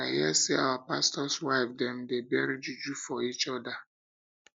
i hear say our pastors wife dem they bury juju for each other